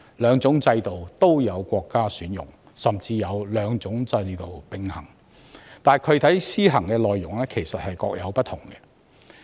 兩種制度都有國家選用，甚至有國家兩種制度並行，但具體施行內容卻各有不同。